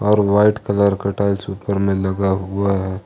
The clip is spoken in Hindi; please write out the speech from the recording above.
और वाइट कलर का टाइल्स ऊपर में लगा हुआ है।